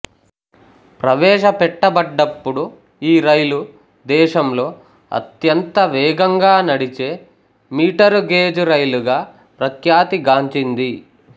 ప్రవేశపెట్టబడ్డప్పుడు ఈ రైలు దేశంలో అత్యంత వేగంగా నడిచే మీటరు గేజ్ రైలుగా ప్రఖ్యాతి గాంచింది